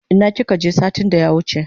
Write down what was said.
Ina kika je satin da ya wuche?